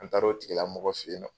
An taara o tigila mɔgɔ fe yen nɔ